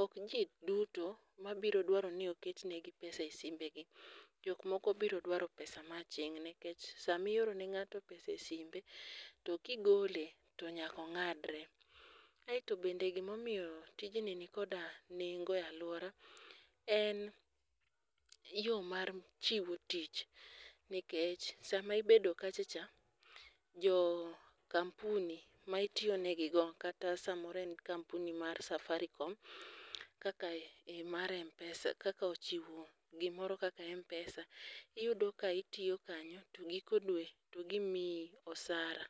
ok jii duto mabiro dwaro ni okenegi pesa e simbegi jok moko biro dwaro pesa ma ching nikech samioro ne ng'ato pesa e simbe to kigole to nyako ng'adre. Aeto bende gimomiyo tij i nikoda nengo e luora en yoo mar chiwo tich nikech sama ibedo kacha cha jo kampuni ma itiyone gigo kata samoro en kampuni mar safarikom kaka mar mar mpesa kaka chiwo gimoro kaka mpesa, iyudo ka itiyo kanyo to giko dwe ti gimiyi osara.